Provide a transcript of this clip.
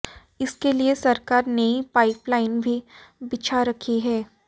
इसके लिए सरकार नई पाइपलाइन भी बिछा रखी है